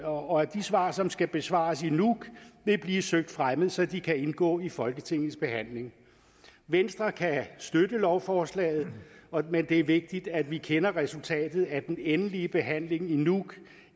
og at de svar som skal besvares i nuuk vil blive søgt fremmet så de kan indgå i folketingets behandling venstre kan støtte lovforslaget men det er vigtigt at vi kender resultatet af den endelige behandling i nuuk